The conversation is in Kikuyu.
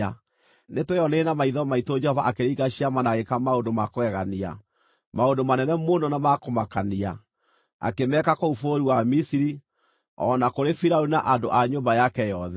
Nĩtweyoneire na maitho maitũ Jehova akĩringa ciama na agĩĩka maũndũ ma kũgegania, maũndũ manene mũno na ma kũmakania, akĩmeeka kũu bũrũri wa Misiri, o na kũrĩ Firaũni na andũ a nyũmba yake yothe.